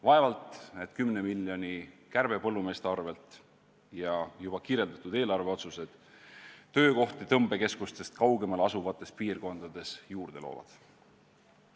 Vaevalt, et 10 miljoni kärbe põllumeeste arvelt ja juba kirjeldatud eelarveotsused töökohti tõmbekeskustest kaugemal asuvates piirkondades juurde loovad.